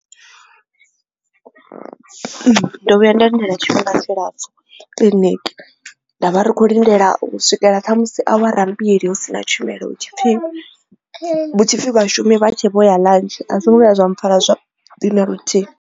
Ndo vhuya nda lindela tshifhinga tshilapfu kiḽiniki ndavha ri kho lindela u swikela khamusi awara mbili hu si na tshumelo hu tshipfhi hutshipfi vhashumi vha tshi vho ya ḽantshi a zwo ngo vhuya zwa mpfhara zwavhuḓi na luthihi.